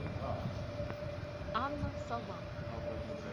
анна сова